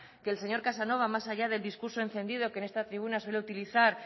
que el señor casanova más allá del discurso encendido que en esta tribuna suele utilizar